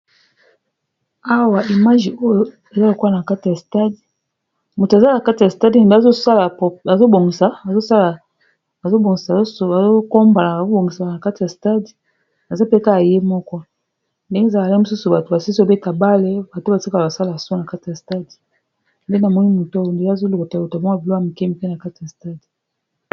Awa bilili oyo eza lokola na kati ya stade, moto azali na kati ya stade eza neti bazokombala na kati ya stade, aza pe kaka ye moko, ndenge ezalaka soki basilisi kobeta bale bato batikalaka bazosala, bazobongisa stade, azolokota lokoto ba biloko ya mikei na kati ya stade.